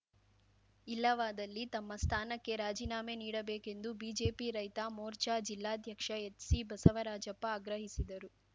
ಇಲ್ಲವಾದಲ್ಲಿ ತಮ್ಮ ಸ್ಥಾನಕ್ಕೆ ರಾಜಿನಾಮೆ ನೀಡಬೇಕೆಂದು ಬಿಜೆಪಿ ರೈತ ಮೋರ್ಚಾ ಜಿಲ್ಲಾಧ್ಯಕ್ಷ ಎಚ್‌ಸಿ ಬಸವರಾಜಪ್ಪ ಆಗ್ರಹಿಸಿದರು